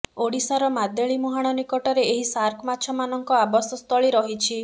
ଓଡ଼ିଶାର ମାଦେଳି ମୁହାଣ ନିକଟରେ ଏହି ସାର୍କ ମାଛମାନଙ୍କ ଆବାସ ସ୍ଥଳୀ ରହିଛି